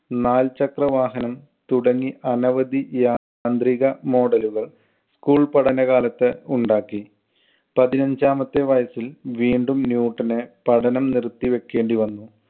നാൽ ചക്രവാഹനം തുടങ്ങി അനവധി യാന്ത്രിക model കൾ school പഠനകാലത്ത് ഉണ്ടാക്കി. പതിനഞ്ചാമത്തെ വയസ്സിൽ വീണ്ടും ന്യൂട്ടന് പഠനം നിർത്തിവയ്ക്കേണ്ടി വന്നു.